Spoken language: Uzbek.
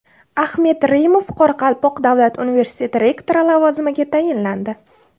Axmet Reymov Qoraqalpoq davlat universiteti rektori lavozimiga tayinlandi.